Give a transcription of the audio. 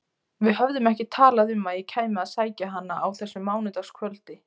Við höfðum ekki talað um að ég kæmi að sækja hana á þessu mánudagskvöldi.